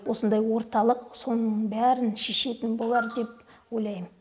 осындай орталық соның бәрін шешетін болар деп ойлайм